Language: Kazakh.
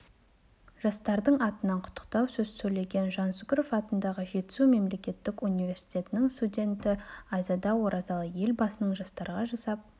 жастардың атынан құттықтау сөз сөйлеген жансүгіров атындағы жетісу мемлекеттік университетінің студенті айзада оразалы елбасының жастарға жасап